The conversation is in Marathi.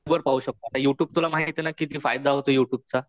त्याने तू यु ट्यूब वर पाहू शकतो. आता यु ट्यूब तुला माहिते ना किती फायदा होतो यु ट्यूबचा.